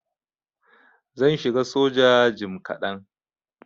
Zan shiga soja jim kadan.